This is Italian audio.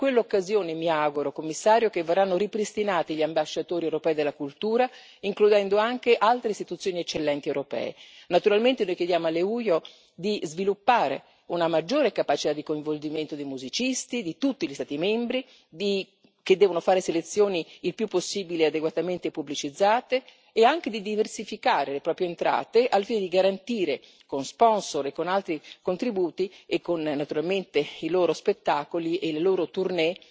In quell'occasione, mi auguro, Commissario, che verranno ripristinati gli ambasciatori europei della cultura, includendo anche altre istituzioni eccellenti europee. Naturalmente noi chiediamo all'EUYO di sviluppare una maggiore capacità di coinvolgimento dei musicisti di tutti gli Stati membri, che devono fare selezioni il più possibile adeguatamente pubblicizzate, e anche di diversificare le proprie entrate al fine di garantire con sponsor e con altri contributi e naturalmente con i loro spettacoli e le loro tournée